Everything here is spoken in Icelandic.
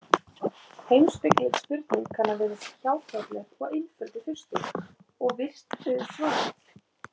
Heimspekileg spurning kann að virðast hjákátleg og einföld í fyrstu, og virst auðsvarað.